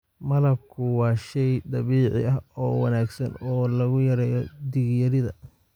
Malabku waa shay dabiici ah oo wanaagsan oo lagu yareeyo dhiig-yarida.